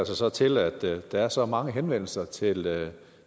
sig så til at der er så mange henvendelser til